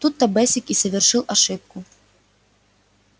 тут то бэсик и совершил ошибку